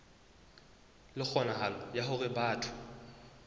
le kgonahalo ya hore batho